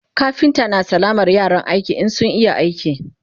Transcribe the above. kafinta na sallamar yaran aiki in sun iya aiki